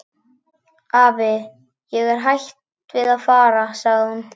Afi, ég er hætt við að fara sagði hún.